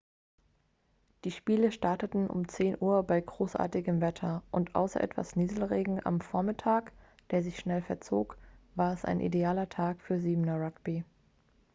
die spiele starteten um 10:00 uhr bei großartigem wetter und außer etwas nieselregen am vormittag der sich schnell verzog war es ein idealer tag für 7er-rugby